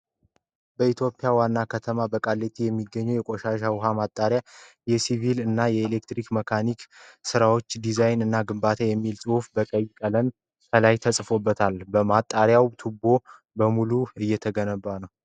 በኢትዮጵያ ዋና ከተማ በቃሊቲ የሚገኘውን የቆሻሻ ውሃ ማጣሪያ የሲቪል እና የኤሌክትሮ መካኒካል ስራዎች ዲዛይን እና ግንባታ የሚል ጽሁፍ በቀይ ቀለም ከላይ ተጽፏል ። ማጣሪያው ቱቦ በሙሉ እየተገነባ ነው ።